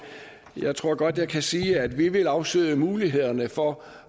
jeg tror godt jeg kan sige at vi vil afsøge mulighederne for